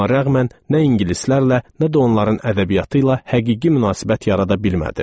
Buna rəğmən nə ingilislərlə, nə də onların ədəbiyyatı ilə həqiqi münasibət yarada bilmədim.